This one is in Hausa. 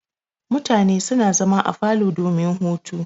Mutane suna zama a falo domin hutu.